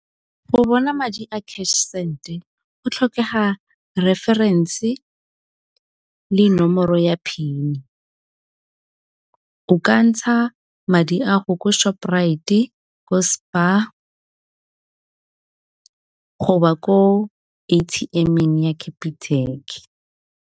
Go bona madi a cash send go tlhokega referense le nomoro ya PIN. O ka ntsha madi a go ko Shoprite ko Spar go ba ko A_T_M-eng ya Capitec.